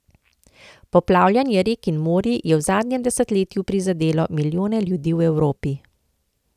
Poplavljanje rek in morij je v zadnjem desetletju prizadelo milijone ljudi v Evropi.